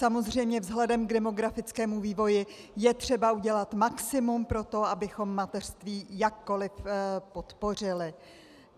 Samozřejmě vzhledem k demografickému vývoji je třeba udělat maximum pro to, abychom mateřství jakkoliv podpořili.